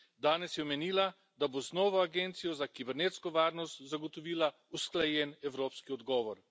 Danes je omenila, da bo z novo agencijo za kibernetsko varnost zagotovila usklajen evropski odgovor.